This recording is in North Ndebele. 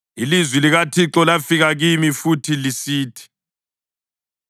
Ilizwi likaThixo lafika kimi futhi lisithi: